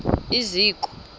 iziko